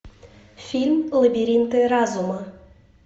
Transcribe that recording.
фильм лабиринты разума